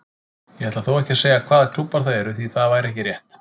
Ég ætla þó ekki að segja hvaða klúbbar það eru því það væri ekki rétt.